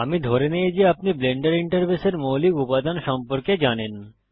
আমি ধরে নেই যে আপনি ব্লেন্ডার ইন্টারফেসের মৌলিক উপাদান সম্পর্কে জানেন